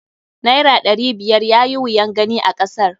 Naira aɗari biyar yayi wuyan gani a kasar.